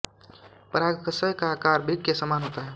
परागशय का आकार वृक्क के समान होता है